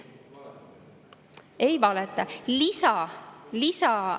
Ei valeta!